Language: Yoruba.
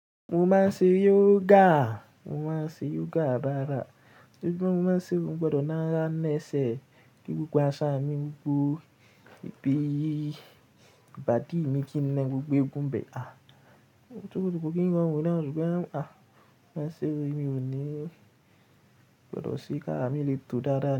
Mo máa ń ṣe yoga, mo máa ń ṣe yoga rárá. Ojoojumo mo maa ń ṣe, mo gbọdọ̀ nara nẹsẹ̀ kí gbogbo aṣan mi gbogbo, ibi ìbàdí mi kí ń naa gbogbo egungun ibẹ̀. À, ko kí ń rorun náà o ṣùgbọ́n à máa ṣe o, emi ò ní, mo gbọdọ̀ se kára mi lè tó dada ni.